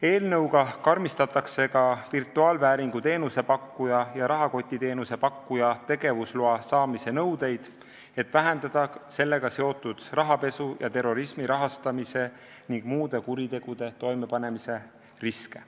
Eelnõuga karmistatakse ka virtuaalvääringu teenuse pakkuja ja rahakotiteenuse pakkuja tegevusloa saamise nõudeid, et vähendada sellega seotud rahapesu ja terrorismi rahastamise ning muude kuritegude toimepanemise riske.